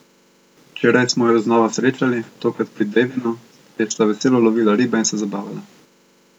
Včeraj smo ju znova srečali, tokrat pri Devinu, kjer sta veselo lovila ribe in se zabavala.